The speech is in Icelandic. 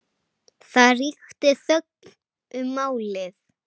Það ríkti þögn um málið.